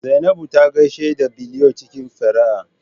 Zainabu ta gaishe da Biliyon cikin fara'a